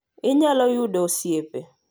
Inyalo yudo osiepe